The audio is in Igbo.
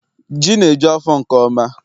Ji na eju afọ nke ọma